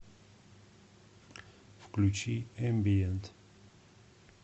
включи эмбиент